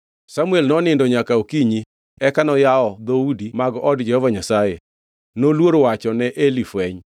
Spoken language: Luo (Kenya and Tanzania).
Samuel nonindo nyaka okinyi eka noyawo dhoudi mag od Jehova Nyasaye. Noluor wacho ne Eli fweny,